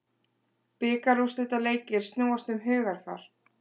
Bikarúrslitaleikir snúast um hugarfar